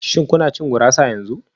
Shin kuna cin gurasa yanzu?